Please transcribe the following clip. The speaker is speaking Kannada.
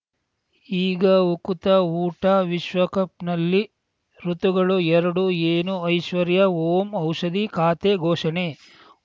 ಈಗ ಉಕುತ ಊಟ ವಿಶ್ವಕಪ್‌ನಲ್ಲಿ ಋತುಗಳು ಎರಡು ಏನು ಐಶ್ವರ್ಯಾ ಓಂ ಔಷಧಿ ಖಾತೆ ಘೋಷಣೆ